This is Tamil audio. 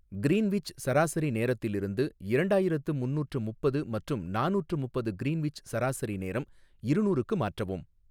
கிரீன்விச் சராசரி நேரத்திலிருந்து இரண்டாயிரத்து முந்நூற்று முப்பது மற்றும் நானூற்று முப்பது கிரீன்விச் சராசரி நேரம் இருநூறுக்கு மாற்றவும்